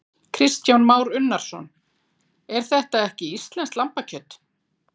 Kristján Már Unnarsson: En þetta er ekki íslenskt lambakjöt?